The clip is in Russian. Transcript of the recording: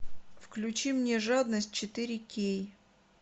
включи мне жадность четыре кей